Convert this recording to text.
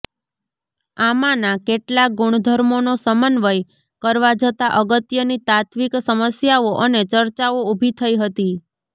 આમાંના કેટલાક ગુણધર્મોનો સમન્વય કરવા જતાં અગત્યની તાત્ત્વિક સમસ્યાઓ અને ચર્ચાઓ ઊભી થઇ હતી